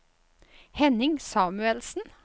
Henning Samuelsen